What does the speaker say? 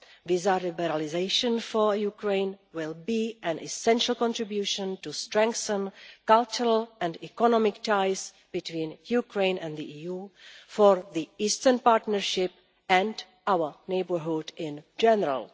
Visa liberalisation for Ukraine will be an essential contribution to strengthening cultural and economic ties between Ukraine and the EU for the Eastern Partnership and our neighbourhood in general.